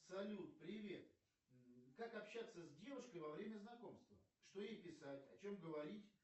салют привет как общаться с девушкой во время знакомства что ей писать о чем говорить